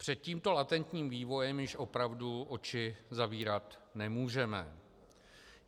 Před tímto latentním vývojem již opravdu oči zavírat nemůžeme.